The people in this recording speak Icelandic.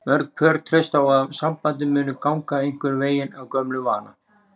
Mörg pör treysta á að sambandið muni ganga einhvern veginn af gömlum vana.